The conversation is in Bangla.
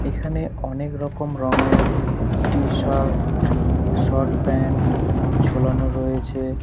এখানে অনেক রকম রংয়ের টি-শার্ট শর্ট প্যান্ট ঝোলানো রয়েছে।